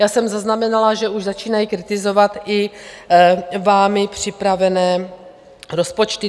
Já jsem zaznamenala, že už začínají kritizovat i vámi připravené rozpočty.